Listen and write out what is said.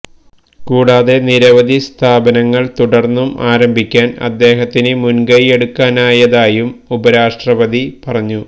കൂടാതെ നിരവധി സ്ഥാപനങ്ങൾ തുടർന്നും ആരംഭിക്കാൻ അദ്ദേഹത്തിന് മുൻകൈയെടുക്കാനായതായും ഉപരാഷ്ട്രപതി പറഞ്ഞു